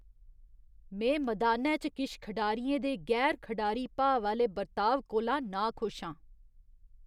में मदानै च किश खढारियें दे गैर खढारी भाव आह्‌ले बर्ताव कोला नाखुश आं।